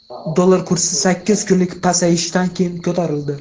Dollar kursi sakkiz kunlik pasayishdan keyin ko‘tarildi.